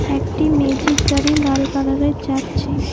একটি মেজিক গাড়ি লাল কালারের যাচ্ছে।